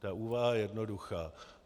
Ta úvaha je jednoduchá.